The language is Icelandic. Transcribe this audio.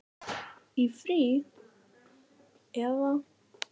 Í frí. eða?